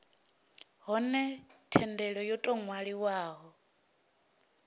hone thendelo yo tou ṅwaliwaho